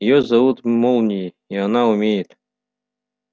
её зовут молнией и она умеет